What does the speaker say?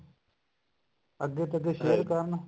ਅੱਗੇ ਤੋਂ ਅੱਗੇ share ਕਰਨ